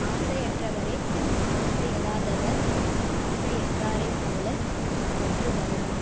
ஆசையற்றவரே ஆசையறாதவர் ஆசையற்றாரைப் போல பற்றறுதலலிர்